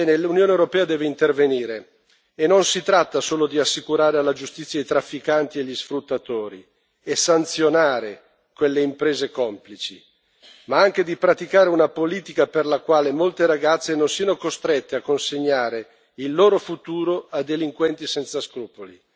L'Unione europea deve intervenire, e non si tratta solo di assicurare alla giustizia i trafficanti e gli sfruttatori e di sanzionare le imprese complici, ma anche di praticare una politica volta a far sì che molte ragazze non siano costrette a consegnare il loro futuro a delinquenti senza scrupoli.